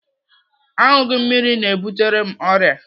Aṅụghị mmiri na-ebutere m ọrịa.